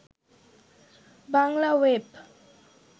Bangla web